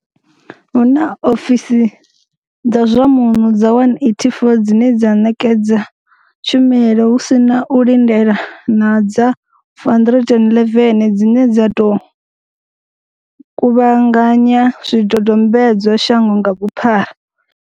Hu na ofisi dza zwa muno dza 184 dzine dza ṋekedza tshumelo hu si na u lindela na dza 411 dzine dza tou kuvhanganya zwidodombedzwa shango nga vhuphara.